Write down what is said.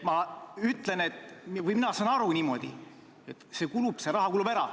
Mina saan aru niimoodi, et see raha kulub ära.